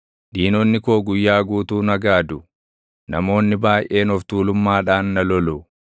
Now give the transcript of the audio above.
Diinonni koo guyyaa guutuu na gaadu; namoonni baayʼeen of tuulummaadhaan na lolu.